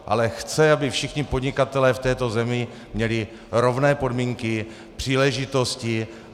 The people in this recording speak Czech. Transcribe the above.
Ale chce, aby všichni podnikatelé v této zemi měli rovné podmínky, příležitosti.